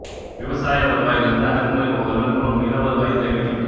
விவசாய வருவாயிலிருந்து அடக்குமுறை முகவர்கள் மூலம் நில வருவாய் சேகரிக்கப்பட்டது